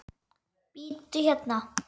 Bíddu hérna.